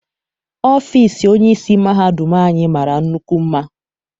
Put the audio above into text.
Ọfịịsi onyeisi mahadum anyị mara nnukwu mma.